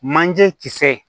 Manje kisɛ